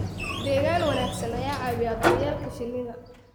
Deegaan wanaagsan ayaa caawiya daryeelka shinnida.